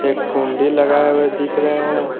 एक कुंडी लगाई हुए दिख रहे हैं।